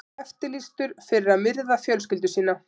Eftirlýstur fyrir að myrða fjölskyldu sína